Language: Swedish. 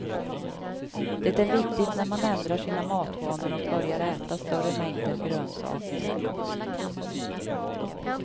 Det är viktigt när man ändrar sina matvanor och börjar äta större mängder grönsaker.